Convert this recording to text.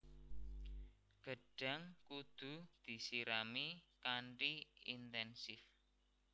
Gedhang kudu disirami kanthi inténsif